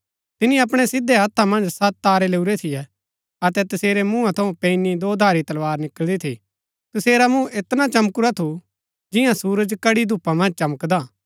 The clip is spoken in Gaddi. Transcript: तिनी अपणै सिधै हत्था मन्ज सत तारै लैऊरै थियै अतै तसेरै मुआं थऊँ पैनी दोधारी तलवार निकळंदी थी तसेरा मुँह ऐत्रा चमकुरा थू जियां सुरज कड़ी धूपा मन्ज चमकदा हा